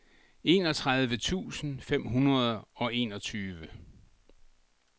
enogtredive tusind fem hundrede og enogtyve